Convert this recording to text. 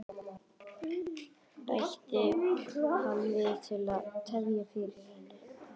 bætti hann við til að tefja fyrir henni.